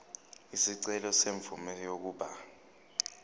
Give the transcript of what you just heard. isicelo semvume yokuba